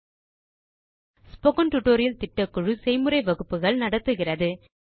spoken tutorial திட்டக்குழு செய்முறை வகுப்புகள் நடத்துகிறது